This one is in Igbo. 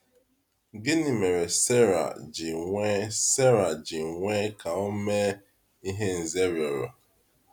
Gịnị mere Sarai ji kwe Sarai ji kwe ka o mee ihe Nze rịọrọ?